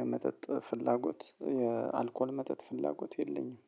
የመጠጥ ፍላጎት የአልኮል መጠጥ ፍላጎት የለኝም